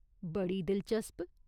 बड़ी दिलचस्प !